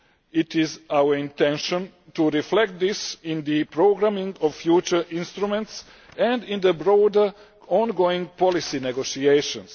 It is our intention to reflect this in the programming of future instruments and in the broader ongoing policy negotiations.